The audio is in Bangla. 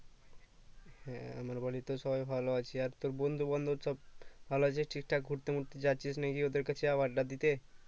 হ্যাঁ আমার বাড়িতেও সবাই ভালো আছে আর তোর বন্ধু বান্ধব সব ভালো আছে ঠিক থাক ঘুরতে মুড়তে যাচ্ছিস নাকি ওদের কাছে আবার আড্ডা দিতে